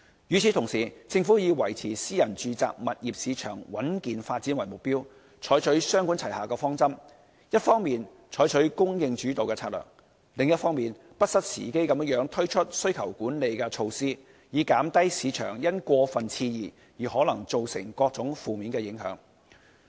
與此同時，政府以維持私人住宅物業市場穩健發展為目標，採取雙管齊下的方針，一方面採取"供應主導"策略，另一方面不失時機地推出需求管理措施，以減低市場因過分熾熱而可能造成的各種負面影響。